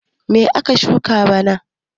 Me ka shuka bana?